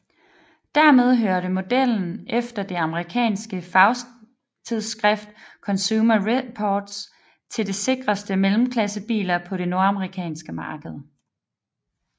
Dermed hørte modellen efter det amerikanske fagtidsskrift Consumer Reports til de sikreste mellemklassebiler på det nordamerikanske marked